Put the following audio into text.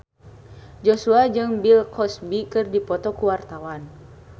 Joshua jeung Bill Cosby keur dipoto ku wartawan